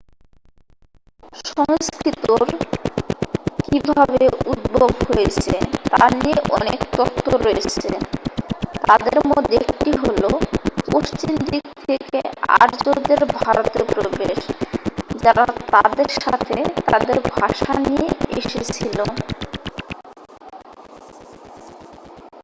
সংস্কৃতর কিভাবে উদ্ভব হয়েছে তা নিয়ে অনেক তত্ত্ব রয়েছে তাদের মধ্যে একটি হলো পশ্চিম দিক থেকে আর্যদের ভারতে প্রবেশ যারা তাদের সাথে তাদের ভাষা নিয়ে এসেছিল